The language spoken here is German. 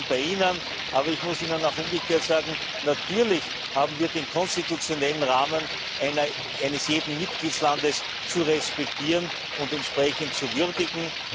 Ich bin bei Ihnen, aber ich muss Ihnen auch umgekehrt sagen Natürlich haben wir den konstitutionellen Rahmen eines jeden Mitgliedslandes zu respektieren und entsprechend zu würdigen.